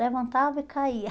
Levantava e caía.